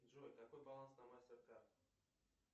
джой какой баланс на мастеркард